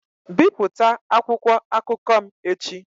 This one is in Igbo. Bipụta akwụkwọ akụkọ m echi!